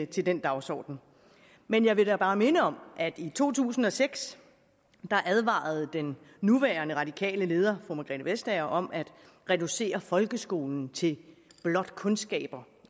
til den dagsorden men jeg vil da bare minde om at i to tusind og seks advarede den nuværende radikale leder fru margrethe vestager om at reducere folkeskolen til blot kundskaber